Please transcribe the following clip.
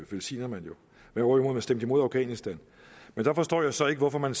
velsigner man jo hvorimod man stemte imod afghanistan men der forstår jeg så ikke hvorfor man